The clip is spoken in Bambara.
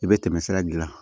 I bɛ tɛmɛ sira gilan